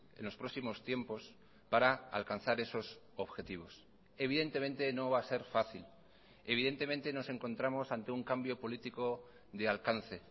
en los próximos tiempos para alcanzar esos objetivos evidentemente no va a ser fácil evidentemente nos encontramos ante un cambio político de alcance